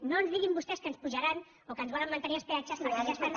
no ens diguin vostès que ens apujaran o que ens volen mantenir els peatges perquè ja estan